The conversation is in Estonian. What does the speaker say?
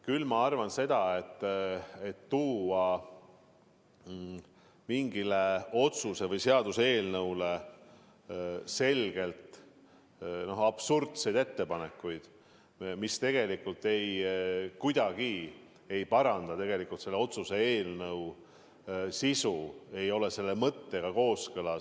Küll ma arvan seda, et esitada mingi otsuse või seaduse eelnõu muutmiseks selgelt absurdseid ettepanekuid, mis tegelikult kuidagi ei soovi paranda eelnõu sisu – see ei ole seaduse mõttega kooskõlas.